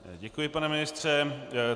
Děkuji, pane ministře.